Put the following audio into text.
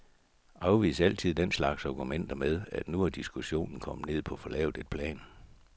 Afvis altid den slags argumenter med, at nu er diskussionen kommet ned på for lavt et plan.